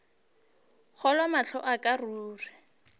kgolwe mahlo a ka ruri